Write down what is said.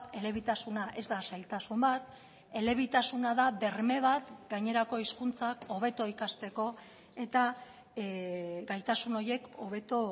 elebitasuna ez da zailtasun bat elebitasuna da berme bat gainerako hizkuntzak hobeto ikasteko eta gaitasun horiek hobeto